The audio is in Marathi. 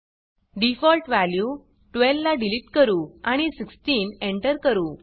डिफॉल्ट वॅल्यू 12 ला डिलीट करू आणि 16 एंटर करू